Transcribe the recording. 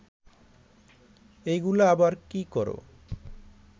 এইগুলা আবার কি কর